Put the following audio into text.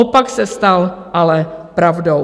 Opak se stal ale pravdou.